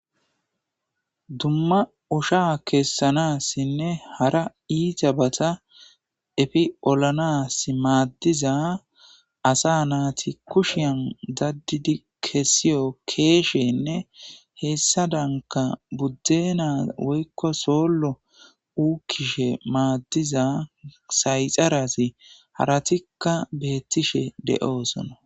Dimma osha kessanaasinne hara iitabata efi olanaasi maaddiza asa naati kushiyan daddidi kessiyo keeshenne hessaadanka buddeena wykko soollo uukishin sayxarati haratikka beettoosona.